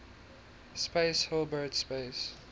space hilbert space